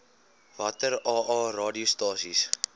watter aa radiostasies